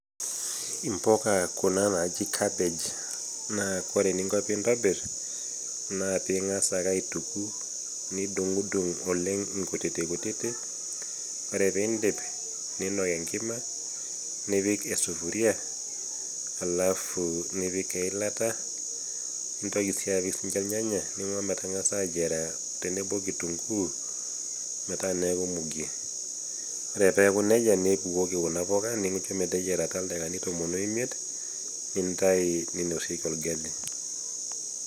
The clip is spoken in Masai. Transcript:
Impuka Kuna naaji kabej ore eninko pee intobir, naa lee ing'as ake aituku, nidung'dung' oleng' inkutitik, ore pee indip niinok enkima , nipik esupuria alaffu nipik eilata, nintoki sininye apik ilnyanya, nincho naa metangas ayiera tenebo o kitunguyu, metaa neaku muge, ore pee eaku neija nibukoki Kuna puga nincho meteyierata ildakikani tomon o imiet, nintayu neinosieki olgali.